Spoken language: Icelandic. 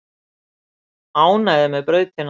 Ánægðir með brautina